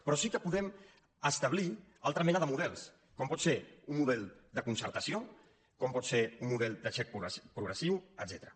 però sí que podem establir una altra mena de models com pot ser un model de concertació com pot ser un model de xec progressiu etcètera